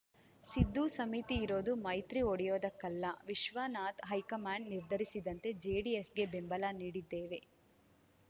ಸಿದ್ದು ಸಮಿತಿ ಇರೋದು ಮೈತ್ರಿ ಒಡೆಯೋದಕ್ಕಲ್ಲ ವಿಶ್ವನಾಥ್‌ ಹೈಕಮಾಂಡ್‌ ನಿರ್ಧರಿಸಿದಂತೆ ಜೆಡಿಎಸ್‌ಗೆ ಬೆಂಬಲ ನೀಡಿದ್ದೇವೆ